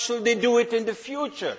why should they do it in the future?